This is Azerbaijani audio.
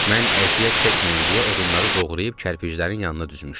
Mən əziyyət çəkməyim deyə odunları doğrayıb kərpiçlərin yanına düzmüşdü.